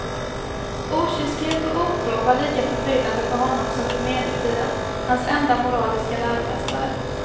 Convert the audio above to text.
Okyskhet och otro var lika förbryllande för honom som för medeltiden, hans enda moraliska läromästare.